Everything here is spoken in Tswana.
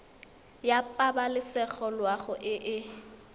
ya pabalesego loago e e